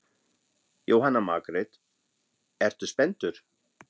Jóhanna Margrét: Ertu spenntur?